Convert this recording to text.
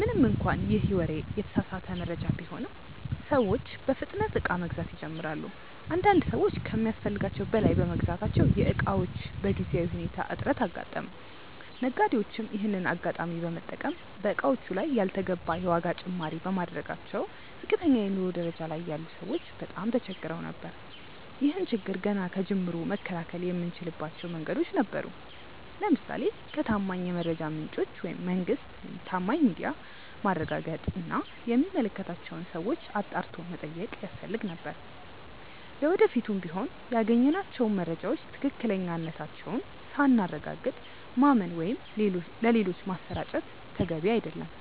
ምንም እንኳን ይህ ወሬ የተሳሳተ መረጃ ቢሆንም፤ ሰዎች በፍጥነት እቃ መግዛት ይጀምራሉ። አንዳንድ ሰዎች ከሚያስፈልጋቸው በላይ በመግዛታቸው የእቃዎች በጊዜያዊ ሁኔታ እጥረት አጋጠመ። ነጋዴዎችም ይሄንን አጋጣሚ በመጠቀም በእቃዎቹ ላይ ያልተገባ የዋጋ ጭማሪ በማድረጋቸው ዝቅተኛ የኑሮ ደረጃ ላይ ያሉ ሰዎች በጣም ተቸግረው ነበር። ይህን ችግር ገና ከጅምሩ መከላከል የምንችልባቸው መንገዶች ነበሩ። ለምሳሌ ከታማኝ የመረጃ ምንጮች (መንግስት፣ ታማኝ ሚዲያ)ማረጋገጥ እና የሚመለከታቸውን ሰዎች አጣርቶ መጠየቅ ያስፈልግ ነበር። ለወደፊቱም ቢሆን ያገኘናቸውን መረጃዎች ትክክለኛነታቸውን ሳናረጋግጥ ማመን ወይም ሌሎች ማሰራጨት ተገቢ አይደለም።